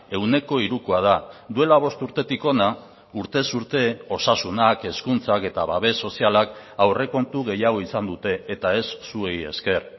ehuneko hirukoa da duela bost urtetik hona urtez urte osasunak hezkuntzak eta babes sozialak aurrekontu gehiago izan dute eta ez zuei esker